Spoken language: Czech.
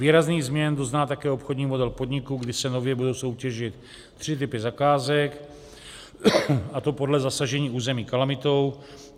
Výrazných změn dozná také obchodní model podniku, kdy se nově budou soutěžit tři typy zakázek, a to podle zasažení území kalamitou.